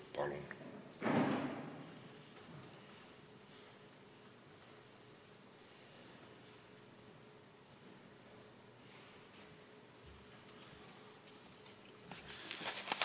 Palun!